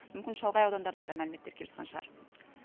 мүмкін шалғай аудандардан да мәліметтер кеп жатқан шығар